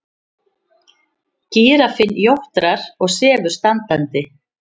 Gíraffinn jórtrar og sefur standandi.